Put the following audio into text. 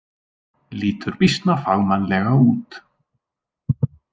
Lítur býsna fagmannlega út.